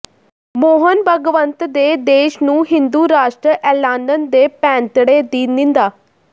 ਮੋਹਣ ਭਾਗਵਤ ਦੇ ਦੇਸ਼ ਨੂੰ ਹਿੰਦੂ ਰਾਸ਼ਟਰ ਐਲਾਨਣ ਦੇ ਪੈਂਤੜੇ ਦੀ ਨਿੰਦਾ